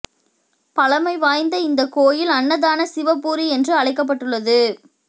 பழமை வாய்ந்த இந்த கோயில் அன்னதான சிவபுரி என்று அழைக்கப்பட்டுள்ளது